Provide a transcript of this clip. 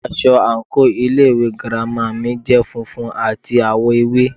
Aṣọ àǹkóò ilé ìwé girama mi jẹ́ funfun àti àwọ̀ ewé.